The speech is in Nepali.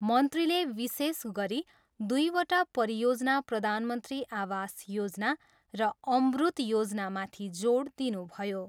मन्त्रीले विशेष गरी दुईवटा परियोजना प्रधानमन्त्री आवास योजना र अम्रुत योजनामाथि जोड दिनुभयो।